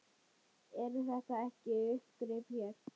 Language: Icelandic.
Eru þetta ekki uppgrip hér?